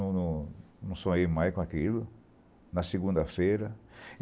Eu não não não sonhei mais com aquilo na segunda-feira.